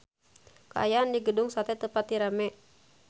Kaayaan di Gedung Sate teu pati rame